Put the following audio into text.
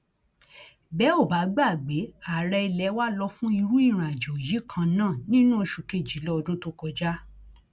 bẹ ò bá gbàgbé ààrẹ ilé wa lọ fún irú ìrìnàjò yìí kan náà nínú oṣù kejìlá ọdún tó kọjá